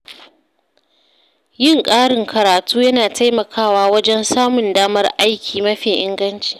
Yin ƙarin karatu yana taimakawa wajen samun damar aiki mafi inganci.